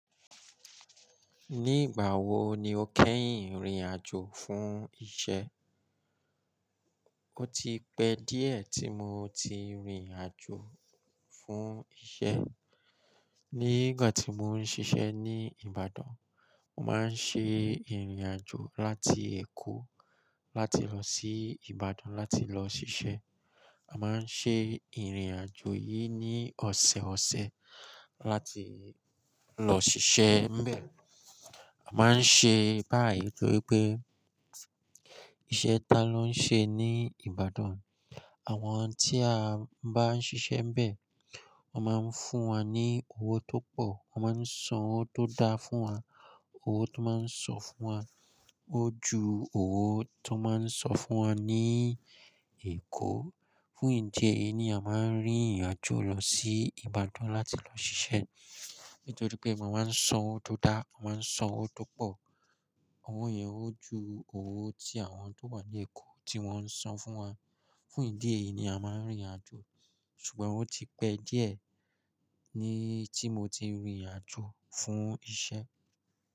Nígbà wo ni o kẹ́yìn rìn àjò fún iṣẹ́? O ti pẹ́ díẹ̀ tí mo ti rìnrìn àjò fún iṣẹ́. Ní ìgbà tí mò ń ṣiṣẹ́ ní Ìbàdàn, mà ń ṣe ìrìn àjò láti Èkó láti lọ sí Ìbàdàn láti lọ ṣiṣẹ́. A máa ń ṣe ìrìn àjò yìí ní ọ̀sẹ̀ẹ̀ ọsẹ̀è láti lọ ṣiṣẹ́ ńbẹ. A máa ń ṣe báyìí nítorí pé iṣẹ́ tá ló ń ṣe ní Ìbàdàn, àwọn tí a bá ń ṣiṣẹ́ ńbẹ. Wọ́n máa ń fún wa ní owó tó pọ̀, wọ́n máa ń san owó tó dá fún wa, owó tó máa ń san fún wa ó ju owó tó máa ń san fún wa ní Èkó. Fún ìdí èyí ni a máa ń rìnrìn àjò lọ sí Ìbàdàn láti lọ ṣiṣẹ́. Nítorí pé wọ́n máa ń san owó tó dá, wọ́n máa ń san owó tó pọ̀. Owó yẹn ó ju owó tí àwọn tó wà ní Èkó tí wọ́n ń san fún wa. Fún ìdí èyí ni a máa ń rìnrìn àjò. Ṣùgbọ́n ó ti pẹ́ díẹ̀ ní tí mo ti rìnrìn àjò fún iṣẹ́.